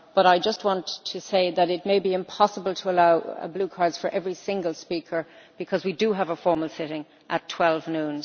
But I just want to say that it may be impossible to allow blue cards for every single speaker because we do have a formal sitting at 12 noon.